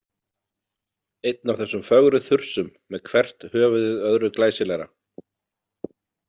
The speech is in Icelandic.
Einn af þessum fögru þursum með hvert höfuðið öðru glæsilegra.